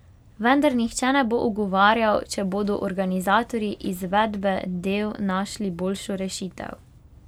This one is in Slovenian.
Vendar nihče ne bo ugovarjal, če bodo organizatorji izvedbe del našli boljšo rešitev.